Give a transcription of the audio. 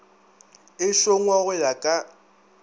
e šongwa go ya ka